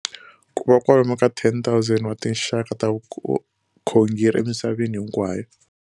Ku na kwalomu ka 10,000 wa tinxaka ta vukhongeri emisaveni hinkwayo.